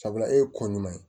Sabula e ye ko ɲuman ye